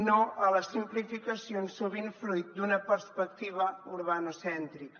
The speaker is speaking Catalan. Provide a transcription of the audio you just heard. no a les simplificacions sovint fruit d’una perspectiva urbanocèntrica